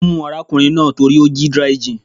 Wọ́n mú arákùnrin náà torí ó jí dry gin.